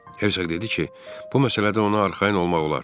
Hertsog dedi ki, bu məsələdə ona arxayın olmaq olar.